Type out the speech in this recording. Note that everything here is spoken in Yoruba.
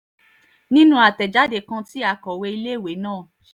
nínú àtẹ̀jáde kan tí akọ̀wé iléèwé náà j